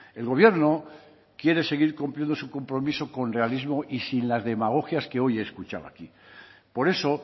el gobierno quiere seguir cumpliendo su compromiso con realismo y sin las demagogias que hoy he escuchado aquí por eso